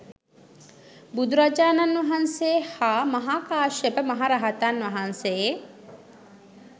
බුදුරජාණන් වහන්සේ හා මහා කාශ්‍යප මහ රහතන් වහන්සේ